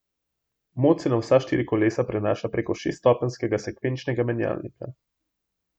Moč se na vsa štiri kolesa prenaša prek šeststopenjskega sekvenčnega menjalnika.